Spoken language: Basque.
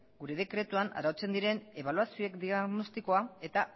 gure dekretuan arautzen diren ebaluazioen diagnostikoa eta